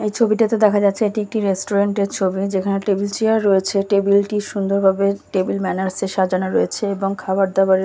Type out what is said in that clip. এই ছবিটাতে দেখা যাচ্ছে এটি একটি রেস্টুরেন্টের ছবি যেখানে টেবিল চেয়ার রয়েছে টেবিল -টি সুন্দর ভাবে টেবিল ম্যানার্স -এ সাজানো রয়েছে এবং খাওয়ার দাওয়ার-এর--